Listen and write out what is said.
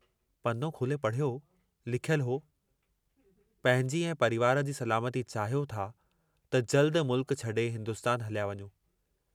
पनो खोले पढ़ियो, लिखियलु हो, पंहिंजी ऐं परिवार जी सलामती चाहियो था त जल्दु मुल्क छॾे हिन्दुस्तान हलिया वञो।